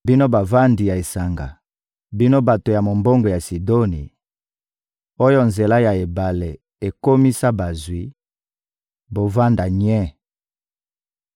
Bino bavandi ya esanga, bino bato ya mombongo ya Sidoni, oyo nzela ya ebale ekomisa bazwi, bovanda nye!